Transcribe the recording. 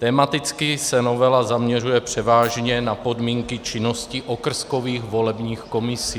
Tematicky se novela zaměřuje převážně na podmínky činnosti okrskových volebních komisí.